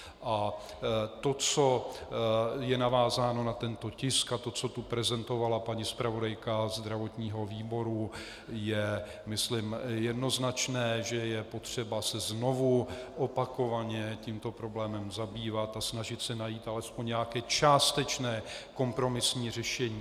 A to, co je navázáno na tento tisk, a to, co tu prezentovala paní zpravodajka zdravotního výboru, je, myslím, jednoznačné - že je potřeba se znovu, opakovaně tímto problémem zabývat a snažit se najít alespoň nějaké částečné kompromisní řešení.